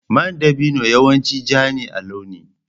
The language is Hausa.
Man dabino yawanci ja ne a launi.